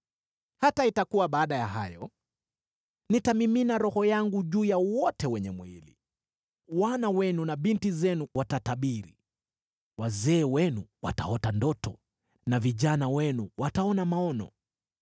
“Hata itakuwa, baada ya hayo, nitamimina Roho wangu juu ya wote wenye mwili. Wana wenu na binti zenu watatabiri, wazee wenu wataota ndoto, na vijana wenu wataona maono.